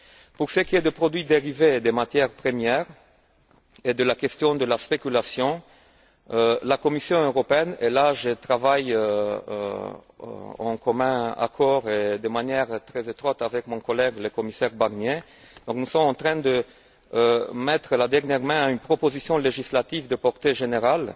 Pour ce qui est des produits dérivés et des matières premières et de la question de la spéculation, la Commission européenne et là, je travaille de commun accord et de manière très étroite avec mon collègue le commissaire Barnier nous sommes en train de mettre la dernière main à une proposition législative de portée générale.